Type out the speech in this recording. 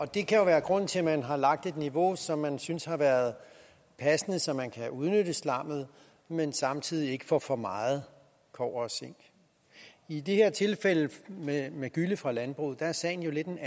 det kan jo være grunden til at man har lagt et niveau som man synes har været passende så man kan udnytte slammet men samtidig ikke får for meget kobber og zink i det her tilfælde med gylle fra landbruget er sagen jo en